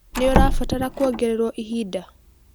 Nĩũrabatara kuongererũo ihinda?